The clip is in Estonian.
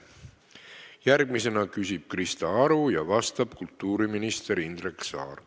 Järgmisena küsib Krista Aru ja vastab kultuuriminister Indrek Saar.